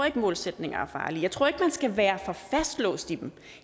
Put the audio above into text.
ikke at målsætninger er farlige jeg tror ikke at man skal være for fastlåst i dem